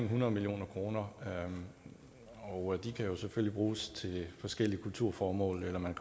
hundrede million kr og de kan jo selvfølgelig bruges til forskellige kulturformål eller man